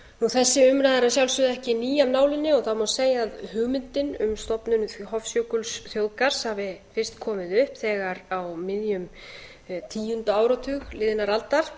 þessi umræða er að sjálfsögðu ekki ný af nálinni og það má segja að hugmyndin um stofnun hofsjökulsþjóðgarðs hafi fyrst komið upp þegar á miðjum tíunda áratug liðinnar aldar